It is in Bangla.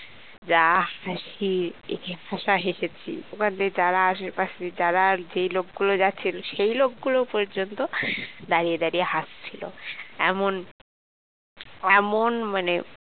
যা হেসেছি কি হাসা হেসেছি ওখান দিয়ে যারা আশেপাশে যারা যেই লোকগুলো যাচ্ছিল সেই লোকগুলো পর্যন্ত দাঁড়িয়ে দাঁড়িয়ে হাসছিল এমন এমন মানে